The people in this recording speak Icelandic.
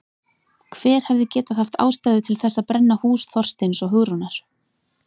Hver hefði getað haft ástæðu til þess að brenna hús Þorsteins og Hugrúnar?